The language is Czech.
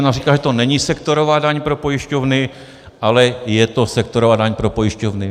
Ona říká, že to není sektorová daň pro pojišťovny, ale je to sektorová daň pro pojišťovny.